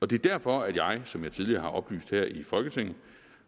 det er derfor at jeg som jeg tidligere har oplyst her i folketinget